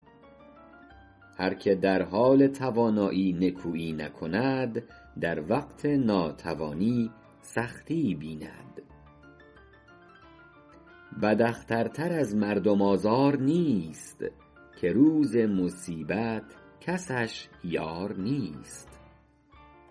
هر که در حال توانایی نکویی نکند در وقت ناتوانی سختی بیند بد اختر تر از مردم آزار نیست که روز مصیبت کسش یار نیست